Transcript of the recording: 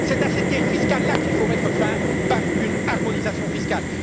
C'est à cette guerre fiscale là qu'il faut mettre fin par une harmonisation fiscale.